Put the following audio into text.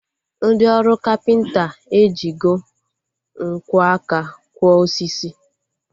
Ndị ọrụ kapịnta ejigo nkwo aka kwọ osisi